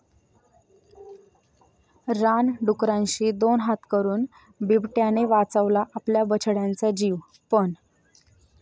रानडुकरांशी दोन हात करून बिबट्याने वाचवला आपल्या बछड्यांचा जीव, पण...